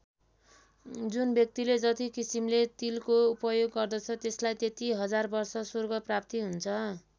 जुन व्यक्तिले जति किसिमले तिलको उपयोग गर्दछ त्यसलाई त्यति हजार वर्ष स्वर्गप्राप्ति हुन्छ।